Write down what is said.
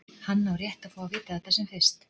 Hann á rétt á að fá að vita þetta sem fyrst.